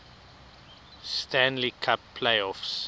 stanley cup playoffs